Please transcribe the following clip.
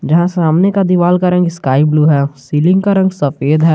जहां सामने का दीवाल का रंग स्काई ब्लू है सीलिंग का रंग सफेद है।